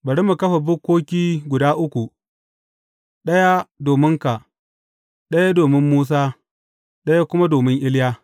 Bari mu kafa bukkoki guda uku, ɗaya dominka, ɗaya domin Musa, ɗaya kuma domin Iliya.